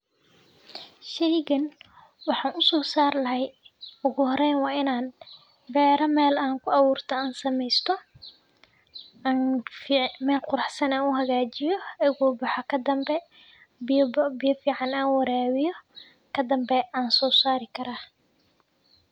Sheygan waxan u sosaar lahay ugu horeyn wa in aan beera meel an ku abuurto, an samaysto, an meel quraxsan an u hagaajiyo. egu baxo kadanbe biyo fiican aan waraawiyo kadanbe an sosaari karaa.